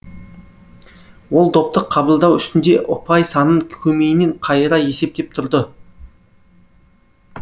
ол допты қабылдау үстінде ұпай санын көмейінен қайыра есептеп тұрды